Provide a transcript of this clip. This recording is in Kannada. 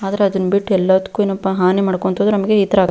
ಆದರೆ ಅದನ್ ಬಿಟ್ಟು ಎಲ್ಲದಕ್ಕೂ ಏನಪ್ಪಾ ಹಾನಿ ಮಾಡ್ಕೊಂತ್ ಹೋದ್ರೆ ನಮಗೆ ಈ ತರ --